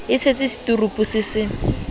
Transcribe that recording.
e tshetse seturupu se se